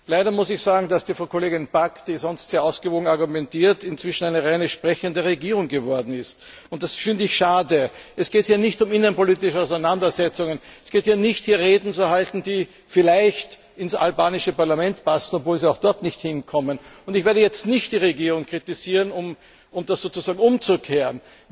Leider muss ich sagen, dass die Frau Kollegin Pack, die sonst sehr ausgewogen argumentiert, inzwischen eine reine sprechende Regierung geworden ist. Und das finde ich schade. Es geht hier nicht um innenpolitische Auseinandersetzungen, es geht hier nicht darum, Reden zu halten, die vielleicht ins albanische Parlament passen, obwohl sie auch dort nicht hinkommen, und ich werde jetzt nicht die Regierung kritisieren, um das sozusagen umzukehren.